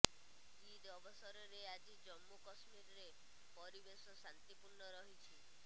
ଇଦ୍ ଅବସରରେ ଆଜି ଜମ୍ମୁ କଶ୍ମୀରରେ ପରିବେଶ ଶାନ୍ତିପୂର୍ଣ୍ଣ ରହିଛି